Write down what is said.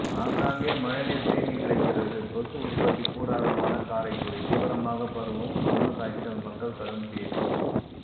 ஆங்காங்கே மழைநீர் தேங்கி கிடக்கிறது கொசு உற்பத்தி கூடாரமான காரைக்குடி தீவிரமாக பரவும் மர்மக்காய்ச்சல் மக்கள் கடும் பீதி